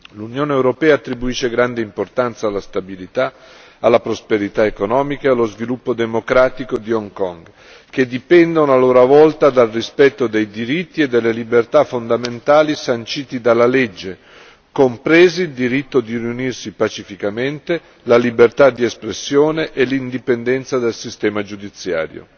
L'Unione europea attribuisce grande importanza alla stabilità, alla prosperità economica e allo sviluppo democratico di Hong Kong, che dipendono a loro volta dal rispetto dei diritti e delle libertà fondamentali sanciti dalla legge, compresi il diritto di riunirsi pacificamente, la libertà di espressione e l'indipendenza del sistema giudiziario.